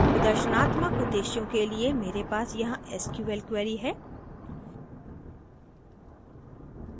प्रदर्शनात्मक उद्देश्यों के लिए मेरे पास यहाँ sql query है